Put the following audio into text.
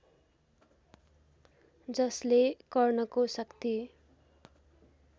जसले कर्णको शक्ति